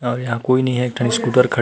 और यहाँ कोई नहीं है एक ठो स्कूटर खड़ --